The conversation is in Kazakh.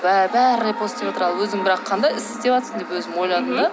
бәрі репост істеватыр өзің бірақ қандай іс істеватсың деп ойладым да